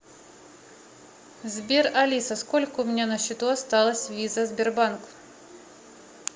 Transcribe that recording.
сбер алиса сколько у меня на счету осталось виза сбербанк